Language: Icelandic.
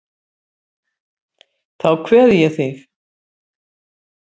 Þá kveð ég þig.